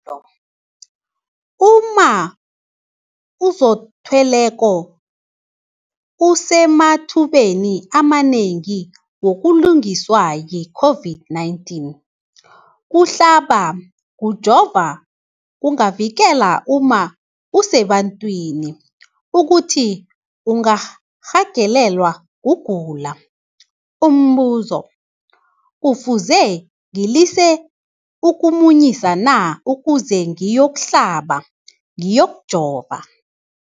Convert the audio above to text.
umma ozithweleko usemathubeni amanengi wokuguliswa yi-COVID-19. Ukuhlaba, ukujova kungavikela umma osebantwini ukuthi angarhagalelwa kugula. Umbuzo, kufuze ngilise ukumunyisa na ukuze ngiyokuhlaba, ngiyokujova?